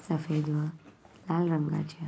सफ़ेद वा लाल रंगाच्या --